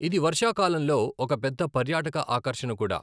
ఇది వర్షాకాలంలో ఒక పెద్ద పర్యాటక ఆకర్షణ కూడా.